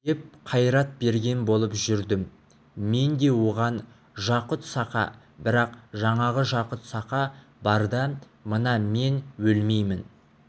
деп қайрат берген болып жүрдім мен де оған жақұт-саха бірақ жаңағы жақұт-саха барда мына мен өлмеймін